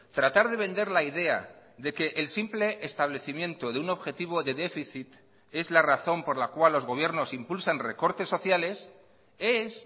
tratar de vender la idea de que el simple establecimiento de un objetivo de déficit es la razón por la cual los gobiernos impulsan recortes sociales es